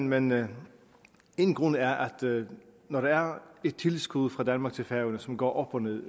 men men én grund er at når der er et tillidsgode fra danmark til færøerne som går op og ned